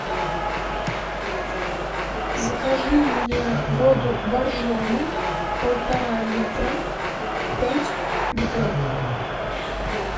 закажи мне воду боржоми полтора литра пять бутылок